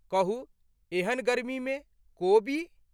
कहू एहन गर्मीमे ...कोबी।